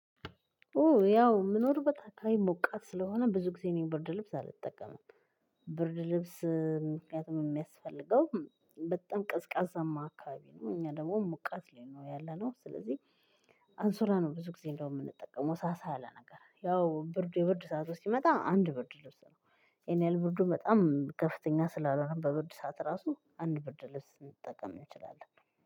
ኦ ያው ምኖርበት አካባቢ ሞቃት ስለሆነ ብዙ ጊዜ እኔ ብርድ ልብስ አልጠቀምም። ብርድ ልብስ ምክንያቱም የሚያስፈልገው በጣም ቀዝቃዛማ አካባቢ ነው። እኛ ደግሞ ሙቀት ላይ ነው ያለነው። ስለዚህ አንሱላ ነው ብዙ ጊዜ እንደው የምንጠቀመው። ሳሳ ያለ ነገር። ያው ብርድ የብርድ ሰዓት ሲመጣ አንድ ብርድ ልብስ ነው። ያን ያህል ብርዱ በጣም ከፍተኛ ስላልሆነ በብርድ ሰዓት ራሱ አንድ ብርድ ልብስ ልትጠቀም እንችላለን።